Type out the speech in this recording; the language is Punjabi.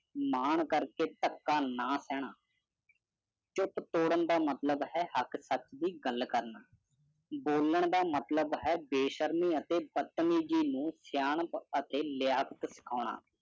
ਮਾਣ ਕਰਕੇ ਤਕਾ ਨਾ ਸੈਨਾ ਚੁੱਪ ਤੋੜਾਂ ਤਾ ਮਤਲਵ ਹੈ ਹੱਕ ਤਕ ਦੀ ਗੱਲ ਕਰਨਾ ਬੋਲਣ ਦਾ ਮਤਲਵ ਹੈ ਬੇਸ਼ਰਮੀ ਅਤੇ ਬਤਮੀਜ਼ੀ ਨੂੰ ਸਿਆਣਪ ਅਤੇ ਲਿਯਾਫਟ ਸਿਖੌਣਾ